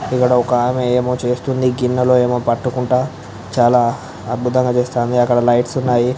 ఇక్కడ ఒక ఆమె అమో ఎమొ చేస్తునది గిన్నలో ఎమో పట్టుకుంటా చాలా అద్బుతంగా చేస్తాంది. అక్కడ లైట్స్ ఉన్నాయి.